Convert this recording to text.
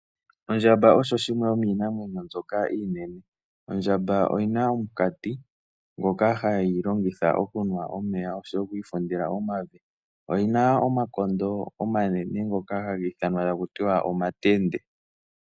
Ondjamba osho oshinamwenyo shoka oshinene ,ondjamba oyina omukati ngoka hayi longitha okunwa omeya oyina wo omakondo omanene ngoka haga ithanwa omatende .